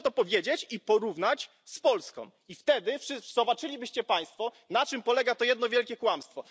Proszę to powiedzieć i porównać z Polską, i wtedy wszyscy zobaczylibyście Państwo, na czym polega to jedno wielkie kłamstwo.